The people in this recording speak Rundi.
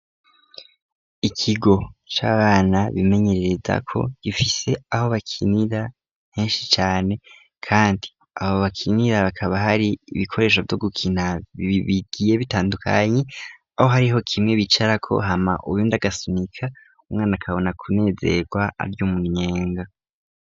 Ikigo c'abana bimenyerereza ko gifise aho bakinira nkenshi cane, kandi abo bakinira bakaba hari ibikoresho vyo gukina iibigiye bitandukanyi aho hariho kimwe bicarako hama uyu ndagasunika umwana akabona kunezerwa aryo umumyenga.